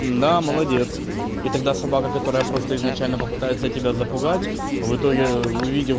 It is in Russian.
да молодец и тогда собака которая просто изначально попытается тебя запугать в итоге увидит